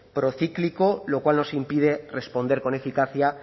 procíclico lo cual nos impide responder con eficacia